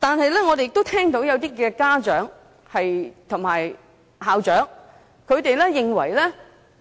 然而，我們亦聽到一些家長及校長認為